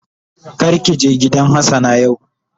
Kar ki je gidan hassana yau.